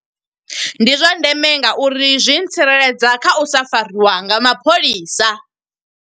Ndi zwa ndeme nga uri zwi tsireledza kha u sa fariwa nga mapholisa.